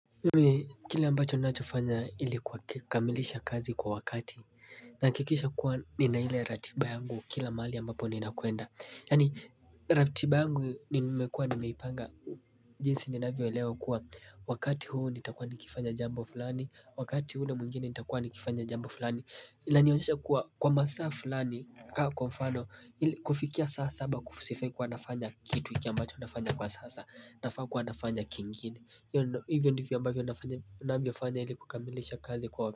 Kile ambacho unachofanya ilikuwa kamilisha kazi kwa wakati na hakikisha kuwa ni na hile ratiba yangu kila mahali ambapo nina kuenda yani ratiba yangu ni mekua ni meipanga jinsi ninavyoelewa kuwa wakati huu nitakuwa nikifanya jambo fulani, wakati ule mwingine nitakuwa nikifanya jambo fulani inanionyesha kuwa kwa masaa fulani kwa mfano kufikia sasa saba sifai kuwa nafanya kitu iki ambacho nafanya kwa sasa nafaa kuwa nafanya kingine hio hivyo ndivyo ambayo nafanya ili kukamilisha kazi kwa wakati.